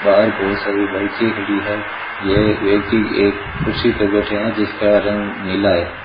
बाहर बहोत सारी बाइके खड़ी हैं ये व्यक्ति एक कुर्सी पे बैठे हैं जिसका रंग नीला है।